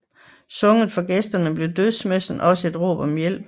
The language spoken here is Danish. Sunget for gæsterne blev dødsmessen også et råb om hjælp